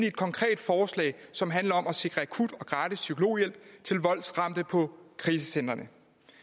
et konkret forslag som handler om at sikre akut og gratis psykologhjælp til voldsramte på krisecentrene